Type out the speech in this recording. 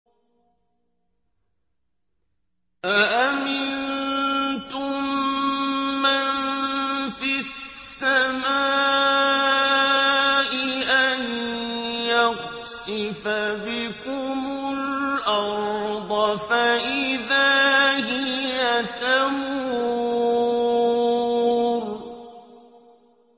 أَأَمِنتُم مَّن فِي السَّمَاءِ أَن يَخْسِفَ بِكُمُ الْأَرْضَ فَإِذَا هِيَ تَمُورُ